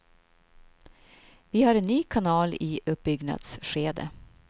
Vi är en ny kanal i uppbyggnadsskede.